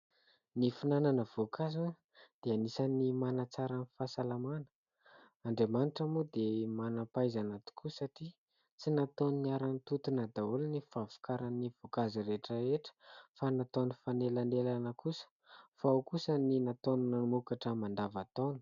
Ny finanana ny voankazo dia anisan'ny manatsara ny fahasalamana. Andriamanitra moa dia manam-pahaizana tokoa satria tsy nataony niara-nitontona daholo ny fahavokaran'ny voankazo rehetra fa nataony nifanelanelana kosa. Fa ao kosa ny nataony namokatra mandavantaona.